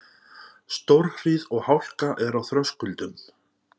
Stórhríð og hálka er á Þröskuldum